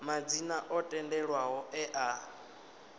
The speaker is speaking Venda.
madzina o tendelwaho e a